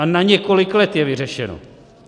A na několik let je vyřešeno!